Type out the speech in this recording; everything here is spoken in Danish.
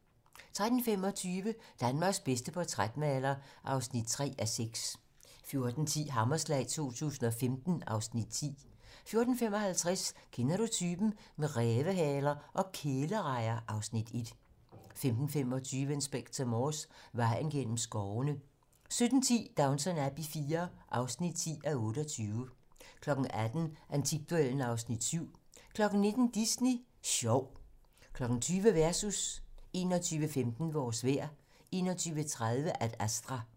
13:25: Danmarks bedste portrætmaler (3:6) 14:10: Hammerslag 2015 (Afs. 10) 14:55: Kender du typen? - Med rævehaler og kælerejer (Afs. 1) 15:25: Inspector Morse: Vejen gennem skovene 17:10: Downton Abbey IV (10:28) 18:00: Antikduellen (Afs. 7) 19:00: Disney Sjov 20:00: Versus 21:15: Vores vejr 21:30: Ad Astra